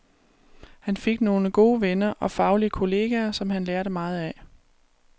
Han fik nogle gode venner og faglige kolleger, som han lærte meget af.